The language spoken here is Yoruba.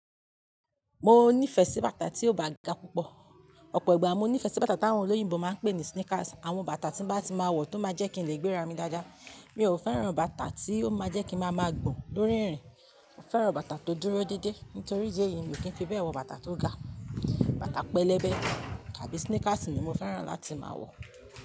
Mo nífẹ̀ẹ́ sí bàtà tí ò bá ga púpọ̀. Ọ̀pọ̀ ìgbà mo nífẹ̀ẹ́ sí bàtà tí àwọn olóyìnbo máa ń pè ní sneakers. Àwọn bàtà tí bá ti máa wọ̀ tó máa jẹ́ kí n lè gbéra mi dáadáa. Mi ò fẹ́ràn bàtà tí ó máa jẹ́ kí ma ma gbọ̀n lórí ìrìn. Mo fẹ́ràn bàtà tó dúró dédé nítorí ìdí èyí ni mo kì í fi bẹ́ẹ̀ wọ bàtà tó ga. Bàtà pẹlẹbẹ tàbí sneakers ni mo fẹ́ràn láti máa wọ̀